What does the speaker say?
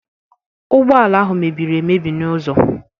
ụgbọ ala ahụ mebiri emebi n'ụzọ.